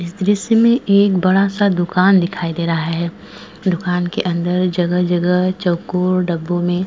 जिसमें एक बड़ा सा दुकान दिखाई दे रहा है दुकान के अंदर जगह-जगह चौकोर डब्बों में।